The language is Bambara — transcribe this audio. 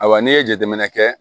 Ayiwa n'i ye jateminɛ kɛ